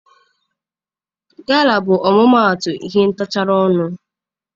Gala bụ ọmụmaatụ ihe ntagharị ọnụ.